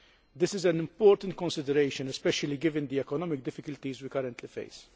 This is an important consideration, especially given the economic difficulties we currently face.